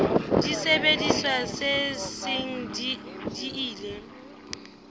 disebediswa tse seng di ile